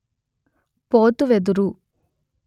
పోతు వెదురు